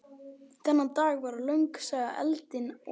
Þennan dag varð löng saga eldinum að bráð.